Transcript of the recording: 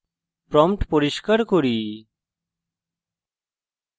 prompt পরিষ্কার করি